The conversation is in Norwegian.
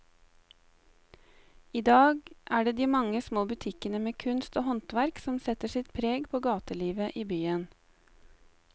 I dag er det de mange små butikkene med kunst og håndverk som setter sitt preg på gatelivet i byen.